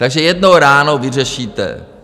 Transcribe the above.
Takže jednou ránou vyřešíte.